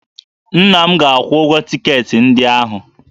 Nna m ga-akwụ ụgwọ tiketi ndị ahụ